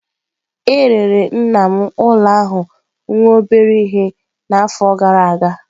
E rere nna m ụlọ ahụ nwere obere ihe n'afọ gara aga.